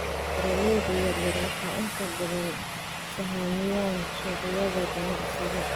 Beeralayda yaryar waxay inta badan sahamiyaan suuqyada ganacsiga.